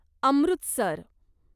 Amritsar